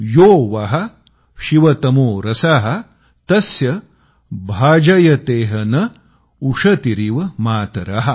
यो वः शिवतमो रसः तस्य भाजयतेह नः उषतीरिव मातरः